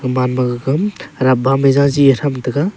man ma gaga aram ma mai za chi tham tai ga.